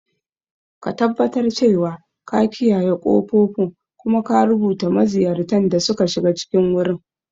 Ka tabbatar cewa ka kiyaye ƙofofin, kuma ka rubuta maziyartan da suka shiga cikin wurin.